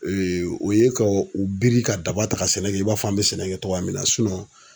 o ye ka u biri ka daba ta ka sɛnɛ kɛ i b'a fɔ an be sɛnɛ kɛ cogoya min na